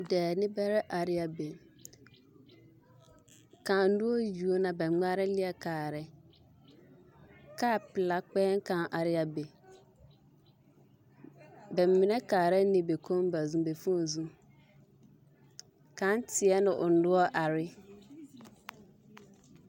Dɔɔ-nimbɛrɛ are ne a be, kaŋ noɔre yuo na ka ba ŋmara leɛ kaara, kaa pelaa kpɛɛ kaŋ are ne a be, ba mine kaara ne ba fooni zu, kaŋ teɛ ne o noɔre are ne.